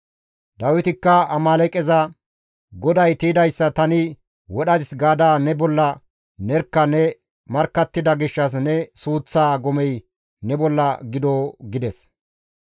Dawitikka Amaaleeqeza, « ‹GODAY tiydayssa tani wodhadis› gaada ne bolla nerkka ne markkattida gishshas ne suuththaa gomey ne bolla gido!» gides.